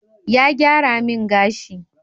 Ya gyara min gashi